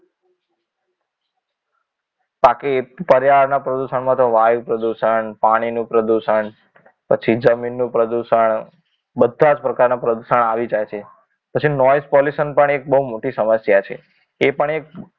બાકી પર્યાવરણના પ્રદૂષણ માં તો વાયુ પ્રદુષણ પાણીનું પ્રદૂષણ પછી જમીનનું પ્રદૂષણ બધા જ પ્રકારના પ્રદૂષણ આવી જાય છે પછી noise pollution પણ એક બહુ મોટી સમસ્યા છે એ પણ એક